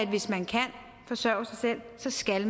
hvis man kan forsørge sig selv skal